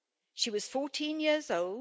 She was 14 years old.